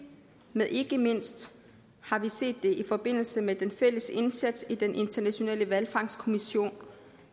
men ikke mindst har vi set det i forbindelse med den fælles indsats i den internationale hvalfangstkommission